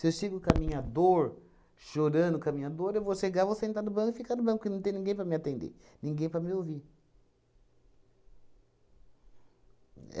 eu chego com a minha dor, chorando com a minha dor, eu vou chegar, vou sentar no banho e ficar no banho, porque não tem ninguém para me atender, ninguém para me ouvir.